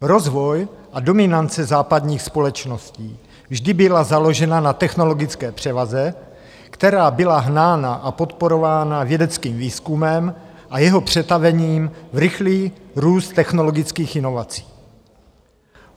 Rozvoj a dominance západních společností vždy byla založena na technologické převaze, která byla hnána a podporována vědeckým výzkumem a jeho přetavením v rychlý růst technologických inovací.